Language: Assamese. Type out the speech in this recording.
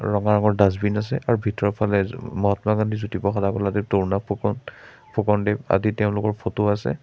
ৰঙা ৰঙৰ ডাষ্টবিন আছে আৰু ভিতৰৰ ফালে জ মহাত্মা গান্ধী জ্যোতি প্ৰসাদ আগৰৱালাদেৱ তৰুণ ৰাম ফুকন ফুকনদেৱ আদি তেওঁলোকৰ ফটো আছে।